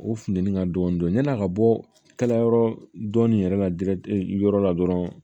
O funtɛni ka dɔɔnin dɔɔnin yani a ka bɔ kalayɔrɔ dɔɔnin yɛrɛ la yɔrɔ la dɔrɔn